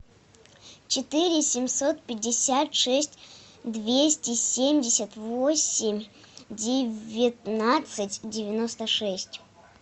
четыре семьсот пятьдесят шесть двести семьдесят восемь девятнадцать девяносто шесть